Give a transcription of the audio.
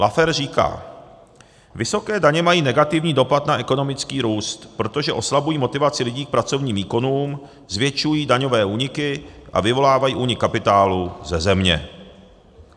Laffer říká, vysoké daně mají negativní dopad na ekonomický růst, protože oslabují motivaci lidí k pracovním výkonům, zvětšují daňové úniky a vyvolávají únik kapitálu ze země.